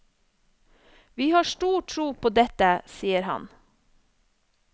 Vi har stor tro på dette, sier han.